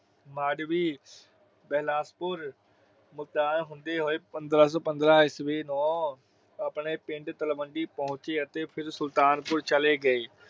ਮਾਡਵੀ, ਵਿਲਾਸਪੁਰ ਹੁੰਦੇ ਹੋਏ। ਪੰਦਰ੍ਹਾਂ ਸੋ ਪੰਦਰਾਂ ਈਸਵੀ ਨੂੰ ਆਪਣੇ ਪਿੰਡ ਤਲਵੰਡੀ ਪਹੁੰਚੇ ਅਤੇ ਫਿਰ ਸੁਲਤਾਨਪੁਰ ਚਲੇ ਗਏ।